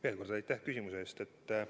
Veel kord, aitäh küsimuse eest!